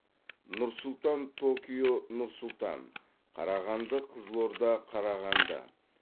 нұр сұлтан токио нұр сұлтан қарағанды қызылорда қарағанды